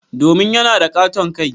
Domin yana da katon kai.